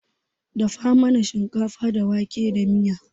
Dafa mana shinkafa da wake da miya.